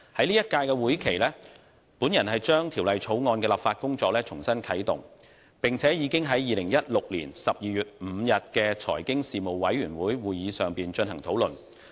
在本屆會期，我把《條例草案》的立法工作重新啟動，並且已將之呈送予財經事務委員會，於2016年12月5日的會議上進行討論。